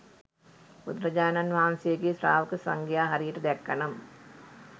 බුදුරජාණන් වහන්සේගේ ශ්‍රාවක සංඝයා හරියට දැක්ක නම්